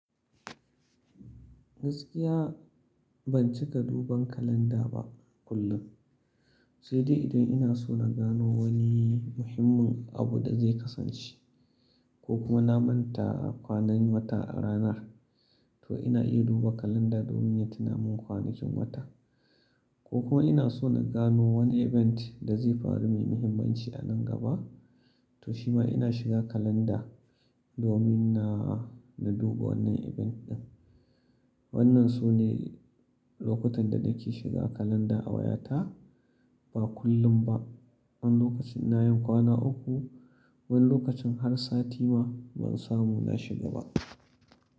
Gaskiya ban cika duban kalanda ba kullum, sai dai idan ina so na gano wani muhimmin abu da zai kasance ko kuma na manta kwanan wata a ranar to ina iya duba kalanda domin ya tuna min kwanakin wata. Ko kuma ina so na gano wani event da zai faru mai muhimmanci a nan gaba to shi ma ina shiga kalanda domin na, na duba wannan event ɗin. Wannan su ne lokutan da nake shiga kalanda a wayata, ba kullum ba. Wani lokacin ina yin kwana uku, wani lokacin har sati ma ban samu na shiga ba.